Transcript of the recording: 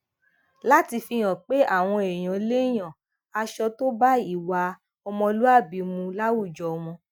láti fi hàn pé àwọn èèyàn lè yan aṣọ tó bá ìwà ọmọlúwàbí mu láwùjọ wọn